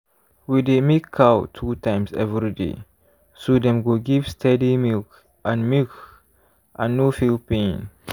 we dey milk cow two times every day so dem go give steady milk and milk and no feel pain.